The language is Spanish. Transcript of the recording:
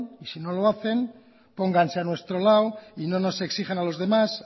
y si no lo hacen póngase a nuestro lado y no nos exijan a los demás